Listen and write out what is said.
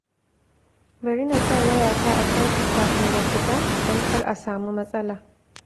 Bari na sa wayata a caji kafin na fita, don kar a samu matsala